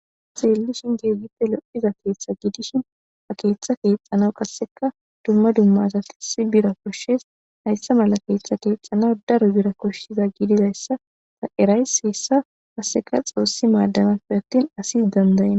Xeelishin keehipe lo7iza keeththati dishin ha keeththata keeththanaas asa naas qasse bira koshees hayssa mala keethatas daro bira koshees hesa kase xoosi maadanafe attin asi danda7enna.